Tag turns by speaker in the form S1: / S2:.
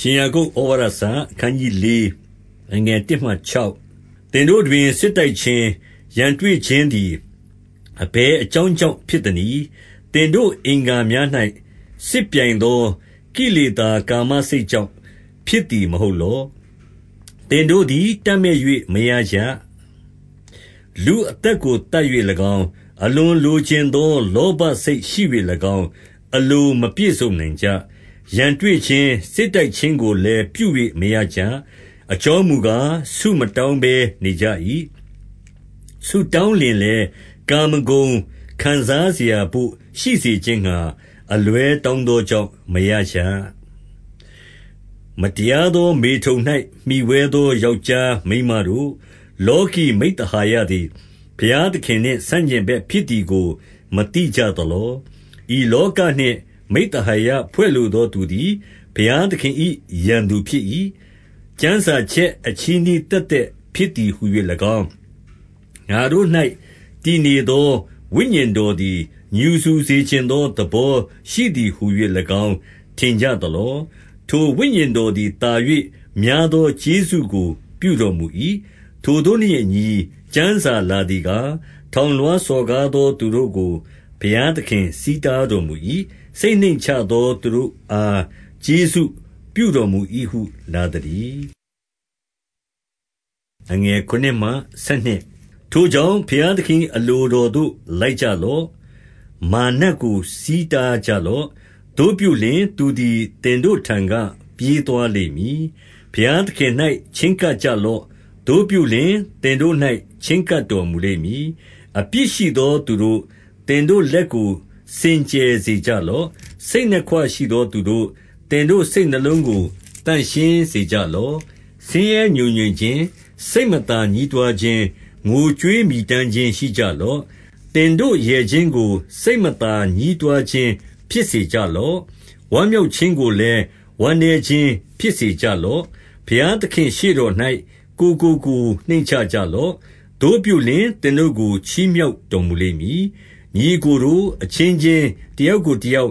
S1: ရှင်ယာကုပ်​‌ဩဝါဒစာ။ အခနျး 4 အခနျး ၄ သင်တို့တွင် စစ်တိုက်ခြင်း၊ ရန်တွေ့ခြင်းသည် အဘယ်အကြောင်းကြောင့်ဖြစ်သနည်း။ သင်တို့အင်္ဂါ များ၌ စစ်ပြိုင်သော ကိလေသာ ကာမစိတ်ကြောင့် ဖြစ်သည်မဟုတ်လော။ 2 သင်တို့သည် တပ်မက်၍မရကြ။ လူအသက်ကို သတ်၍၎င်း၊ အလွန်လိုချင်သောလောဘစိတ်ရှိ၍၎င်း၊ အလိုမပြည့်စုံနိုင်ကြ။ ရန်တွေ့ခြင်း၊ စစ်တိုက်ခြင်းကိုလည်း ပြု၍မရကြ။ အကြောင်းမူကား၊ ဆုမတောင်းဘဲ နေကြ၏။ 3 ဆုတောင်းလျှင်လည်း ကာမဂုဏ်ခံစားစရာတို့ရှိစေခြင်းငှါ၊ အလွဲတောင်းသောကြောင့်မရကြ။ 4 မတရားသောမေထုန်၌မှီဝဲသော ယောက်ျားမိန်းမတို့၊ လောကီမိဿဟာယသည် ဘုရားသခင်နှင့် ဆန့်ကျင်ဘက်ဖြစ်သည်ကို မသိကြသလော။ ဤလောကနှင့် မိဿဟာယဖွဲ့လိုသောသူသည် ဘုရားသခင်၏ ရန်သူဖြစ်၏။ 5 ကျမ်းစာချက် အချည်းနှီးသက်သက်ဖြစ်သည်ဟူ၍၎င်း၊ ငါတို့၌ တည်နေသော ဝိညာဉ်တော်သည် ငြူစူစေချင်သော သဘောရှိသည်ဟူ၍၎င်း၊ ထင်ကြသလော။ 6 ထိုဝိညာဉ်တော်သည် သာ၍များသော ကျေးဇူးကိုပြုတော်မူ၏။ ထိုသို့နှင့်အညီ ကျမ်းစာလာ သည်ကား၊ ထောင်လွှားစော်ကားသောသူတို့ကို ဘုရားသခင် ဆီးတားတော်မူ၏။ စိတ်နှိမ့်ချသော သူတို့အား ကျေးဇူးပြုတော်မူ၏ဟုလာသတည်း။ 7 ထိုကြောင့်၊ ဘုရားသခင်၏အလိုတော်သို့ လိုက်ကြလော့။ မာရ်နတ်ကို ဆီးတားကြလော့။ သို့ပြုလျှင်၊ သူသည် သင်တို့ထံက ပြေးသွားလိမ့်မည်။ 8 ဘုရားသခင်၌ချဉ်းကပ်ကြလော့။ သို့ပြုလျှင်၊ သင်တို့၌ချဉ်းကပ်တော်မူလိမ့်မည်။ အပြစ်ရှိသောသူတို့၊ သင်တို့လက်ကို စင်ကြယ်စေကြလော့။ စိတ်နှစ်ခွရှိသာသူတို့၊ သင်တို့စိတ်နှလုံးကို သန့်ရှင်းစေကြလော့။ 9 ဆင်းရဲငြိုငြင်ခြင်း၊ စိတ်မသာညည်းတွားခြင်း၊ ငိုကြွေးမြည်တမ်းခြင်းရှိကြလော့။ သင်တို့ရယ်ခြင်းကို စိတ်မသာညည်းတွားခြင်း၊ ဖြစ်စေကြလော့။ ဝမ်းမြောက်ခြင်းကိုလည်း ဝမ်းနည်းခြင်းဖြစ်စေကြလော့။ 10 ဘုရားသခင့်ရှေ့တော်၌ ကိုယ်ကိုကိုယ် နှိမ့်ချကြလော့။ သို့ပြုလျှင်၊ သင်တို့ကို ချီးမြှောက်တော် မူလိမ့်မည်။ 11 ညီအစ်ကိုတို့၊ အချင်းချင်းတယောက်ကိုတယောက်